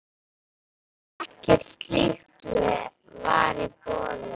En ekkert slíkt var í boði.